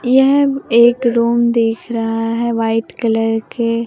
यह एक रूम दिख रहा है व्हाईट कलर के।